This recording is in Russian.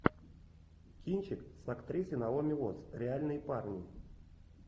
кинчик с актрисой наоми уоттс реальные парни